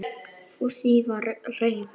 Fúsi var reiður.